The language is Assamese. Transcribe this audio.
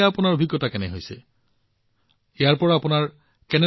এতিয়া আপোনাৰ অভিজ্ঞতা কি ইয়াৰ সুবিধা কি